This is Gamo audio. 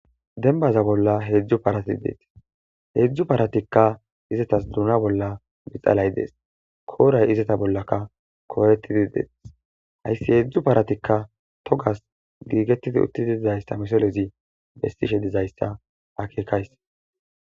Dembaza bolla hezzu parathi dethess. Hezzu parathikka izzathas dunna bolla bixallay dees. Kora erizzaytha bollakka koorathidi dethees. Hayssi hezzu parathikka toggass gigettidi uttide dizzayssa missilen histishe dizzayssa akekayss.